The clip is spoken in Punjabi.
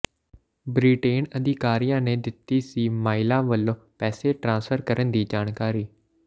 ਬ੍ਰਿਟੇਨ ਅਧਿਕਾਰੀਆਂ ਨੇ ਦਿੱਤੀ ਸੀ ਮਾਲਿਆ ਵੱਲੋਂ ਪੈਸੇ ਟਰਾਂਸਫਰ ਕਰਨ ਦੀ ਜਾਣਕਾਰੀ